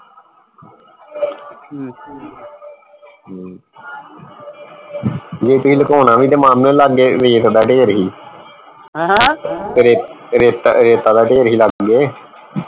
ਹਮ ਜੇ ਤੁਸੀਂ ਲੁਕਾਉਣਾ ਵੀ ਤਾਂ ਮਾਮੇ ਲਾਗੇ ਰੇਤ ਦਾ ਢੇਰ ਸੀ ਤੇ ਰੇਤ ਰੇਤ ਰੇਤਾ ਦਾ ਢੇਰ ਸੀ ਲਾਗੇ